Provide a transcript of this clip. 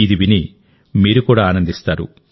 ఇది విని మీరు కూడా ఆనందిస్తారు